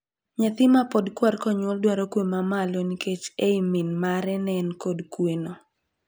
Nyathi mapod kwar konyuol dwaro kwe ma malo nikech ei min mare ne en kod kweno.